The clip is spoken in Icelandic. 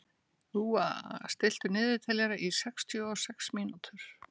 Úa, stilltu niðurteljara á sextíu og sex mínútur.